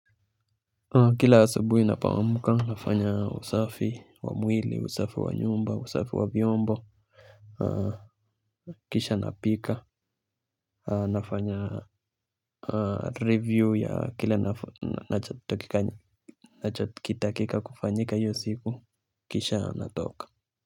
Kila asubuhi napoamka nafanya usafi wa mwili, usafi wa nyumba, usafi wa vyombo, kisha napika. Nafanya review ya kila nachotakikana nacho kitakika kufanyika hiyo siku, kisha, natoka.